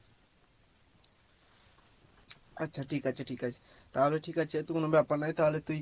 আচ্ছা ঠিক আছে ঠিক আছে তাহলে ঠিক আছে কোনো ব্যাপার নয় তাহলে তুই